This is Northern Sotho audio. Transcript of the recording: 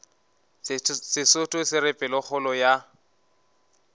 sesotho se re pelokgolo ya